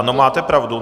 Ano, máte pravdu.